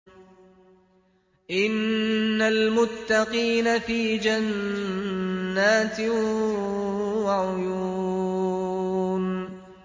إِنَّ الْمُتَّقِينَ فِي جَنَّاتٍ وَعُيُونٍ